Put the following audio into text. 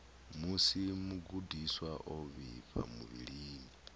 musi mugudiswa o vhifha muvhilini